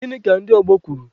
Gịnị ka ndị ọgbọ kwuru?